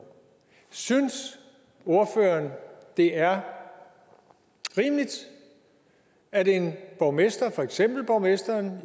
synes ordføreren det er rimeligt at en borgmester for eksempel borgmesteren